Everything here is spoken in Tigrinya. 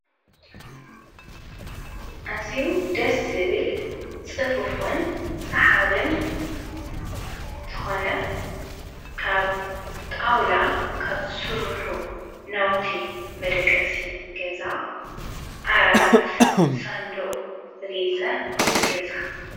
እዚዩ ደስ ዝብል ጽፉፉን ሰሓብን ዝኾነ ካብ ጣውላ ካብ ዝሱርኁ ናውቲ መደቀሲ ገዛ ዓራት ሳንድቕ ብጌጸ ክፍል ገዛ።